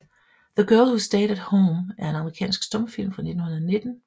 The Girl Who Stayed at Home er en amerikansk stumfilm fra 1919 af D